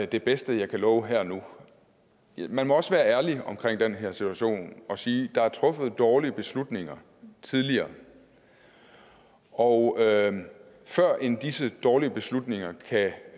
det bedste jeg kan love her og nu man må også være ærlig i den her situation og sige at der er truffet dårlige beslutninger tidligere og førend disse dårlige beslutninger kan